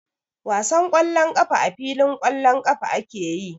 Wasan ƙwallon ƙafa a filin ƙwallon ƙafa ake yi.